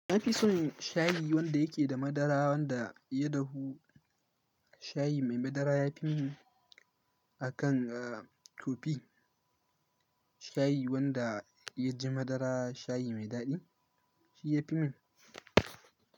Na fi son shayi wanda yake da madara wanda ya dahu. Shayi mai madara ya fi mun akan kofi. Shayi wanda ya ji madara shayi mai daɗi shi ya fi mun.